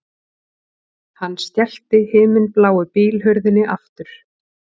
Hann skellti himinbláu bílhurðinni aftur